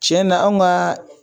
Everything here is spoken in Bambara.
Tiɲɛna an ka